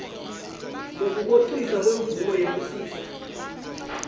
nekuhociswa kwemvumo yekusisa